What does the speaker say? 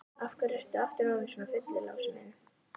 Af hverju ertu aftur orðinn svona fullur, Lási minn?